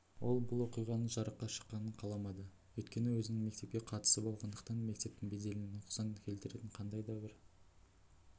ол бұл оқиғаның жарыққа шыққанын қаламады өйткені өзінің мектепке қатысы болғандықтан мектептің беделіне нұқсан келтіретін қандай да бір